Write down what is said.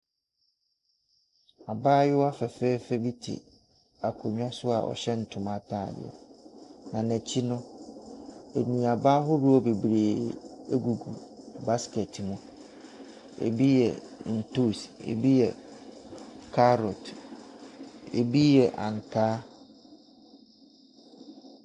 Abaayewa fɛfɛɛfɛ bi te akonnwa so a ɔhyɛ ntoma atadeɛ, na n'akyi no, nnuaba ahodoɔ bebree gu basket mu. Ɛbi yɛ ntoosi, ɛbi carrot, ɛbi yɛ ankaa.